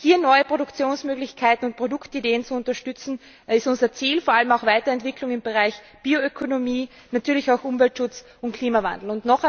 Hier neue Produktionsmöglichkeiten und Produktideen zu unterstützen, ist unser Ziel, vor allem auch eine Weiterentwicklung im Bereich Bioökonomie, Umweltschutz und Klimawandel.